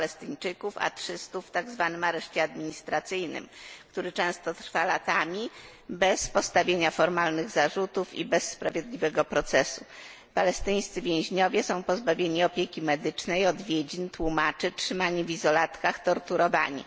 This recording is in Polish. Palestyńczyków, a 300 w tak zwanym areszcie administracyjnym, który często trwa latami bez postawienia formalnych zarzutów i bez sprawiedliwego procesu. Palestyńscy więźniowie są pozbawieni opieki medycznej, odwiedzin, tłumaczy, są trzymani w izolatkach, torturowani.